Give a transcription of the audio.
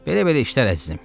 Belə-belə işlər əzizim.